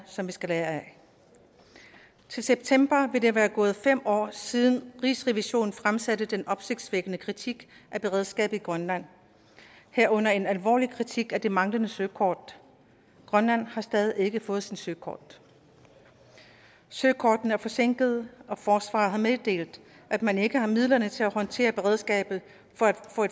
som vi skal lære af til september vil der være gået fem år siden rigsrevisionen fremsatte den opsigtsvækkende kritik af beredskabet i grønland herunder en alvorlig kritik af det manglende søkort grønland har stadig ikke fået sit søkort søkortene er forsinkede og forsvaret har meddelt at man ikke har midlerne til at håndtere beredskabet for et